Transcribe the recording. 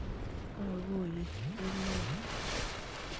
Kkakoye chupeet neyaa